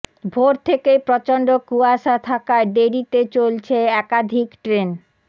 ভোর থেকেই প্রচন্ড কুয়াশা থাকায় দেরিতে চলছে একাধিক ট্রেন